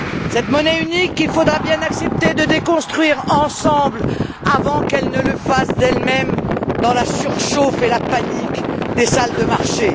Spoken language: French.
Cette monnaie unique, il faudra bien accepter de la déconstruire ensemble avant qu'elle ne le fasse d'elle même dans la surchauffe et la panique des salles de marché.